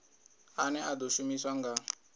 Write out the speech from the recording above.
ane a ḓo shumiswa nga